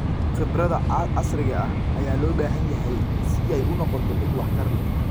Khibrada casriga ah ayaa loo baahan yahay si ay u noqoto mid waxtar leh.